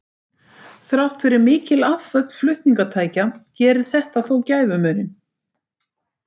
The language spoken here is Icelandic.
Þrátt fyrir mikil afföll flutningatækja gerði þetta þó gæfumuninn.